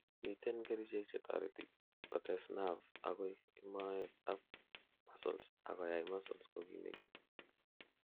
miten kerichek chetoreti kotes nerve agoi moet ab muscles ak koyai muscles kogimegitun